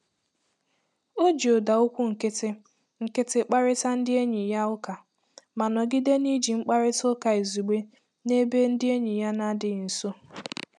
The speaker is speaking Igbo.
O ji ụda okwu nkịtị nkịtị kparịta ndị enyi ya ụka, ma nọgide n'iji nkparịta ụka izugbe n'ebe ndị enyi ya na-adịghị nso.